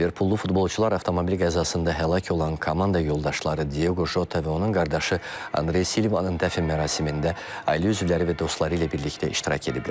Liverpullu futbolçular avtomobil qəzasında həlak olan komanda yoldaşları Diogo Jota və onun qardaşı Andre Silva-nın dəfn mərasimində ailə üzvləri və dostları ilə birlikdə iştirak ediblər.